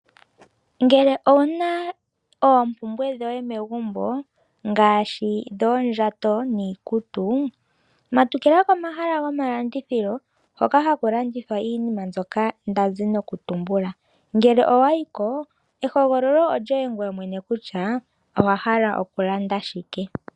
Ngele owuna oompumbwe dhoye megumbo ngaashi oondjato niikutu matukila komahala ngoka ndazi nokutumbula. Ngele owa yiko ehogololo olyoye ngoye mwene kutya owa hala okulanda shike.